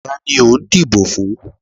Ta ni o n dibò fún?